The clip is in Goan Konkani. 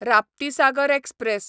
राप्तीसागर एक्सप्रॅस